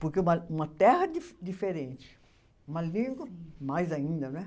Porque uma, uma terra dife diferente, uma língua, mais ainda, não é?